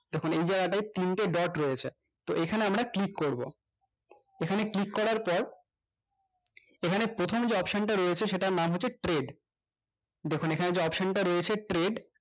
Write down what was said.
দেখুন এইজায়গাটাই তিনটে dot রয়েছে তো এখানে আমরা click করবো এখানে click করব এখানে click করার পর এখানে প্রথম যে option টা রয়েছে সেইটার নাম হচ্ছে trade দেখুন এখানে যে option টা রয়েছে trade